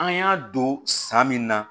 An y'a don san min na